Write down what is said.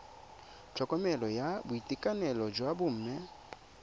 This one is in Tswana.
tlhokomelo ya boitekanelo jwa bomme